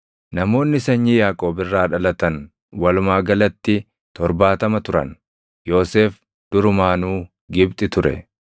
Namoonni sanyii Yaaqoob irraa dhalatan walumaa galatti torbaatama turan; Yoosef durumaanuu Gibxi ture.